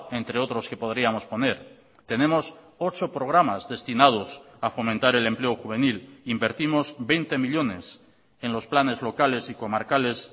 entre otros que podríamos poner tenemos ocho programas destinados a fomentar el empleo juvenil invertimos veinte millónes en los planes locales y comarcales